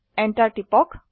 enter টিপক